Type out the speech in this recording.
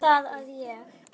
Bara það að ég.